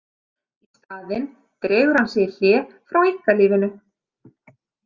Í staðinn dregur hann sig í hlé frá einkalífinu.